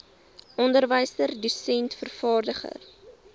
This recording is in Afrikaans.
onderwyser dosent vervaardiger